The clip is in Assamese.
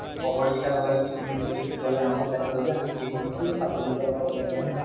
অপৰিষ্কাৰ ভাবে বস্তুখিনি থৈছে তেতিয়া হলে আমাৰো দায়িত্ব হয় যে আমি সেইখিনি বস্তু চাফ চিকুন কৰা বা পৰিষ্কাৰ কৰা হয় নে নহয়